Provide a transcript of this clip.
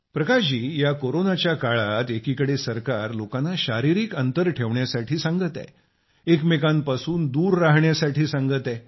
प्रकाश जी या कोरोनाच्या काळात एकीकडे सरकार लोकांना शारीरिक अंतर ठेवण्यास सांगत आहे एकमेकांपासून दूर रहाण्यास सांगत आहे